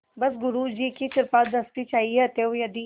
बस गुरु जी की कृपादृष्टि चाहिए अतएव यदि